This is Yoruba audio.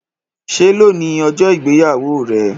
Ṣe loni ọjọ igbeyawo rẹ?